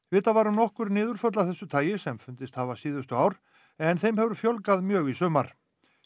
vitað var um nokkur niðurföll af þessu tagi sem fundist hafa síðustu ár en þeim hefur fjölgað mjög í sumar